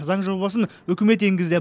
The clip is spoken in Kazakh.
заң жобасын үкімет енгізді